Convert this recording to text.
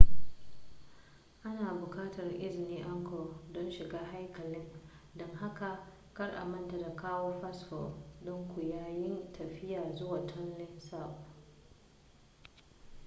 ana buƙatar izinin angkor don shiga haikalin don haka kar a manta da kawo fasfo ɗinku yayin tafiya zuwa tonle sap